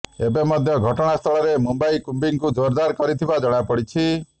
ଏବେ ମଧ୍ୟ ଘଟଣାସ୍ଥଳରେ ପୋଲିସ କମ୍ବିଂକୁ ଜୋରାଦାର କରୁଥିବା ଜଣାପଡିଛି